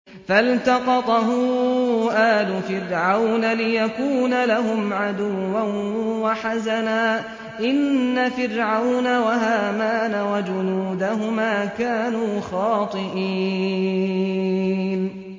فَالْتَقَطَهُ آلُ فِرْعَوْنَ لِيَكُونَ لَهُمْ عَدُوًّا وَحَزَنًا ۗ إِنَّ فِرْعَوْنَ وَهَامَانَ وَجُنُودَهُمَا كَانُوا خَاطِئِينَ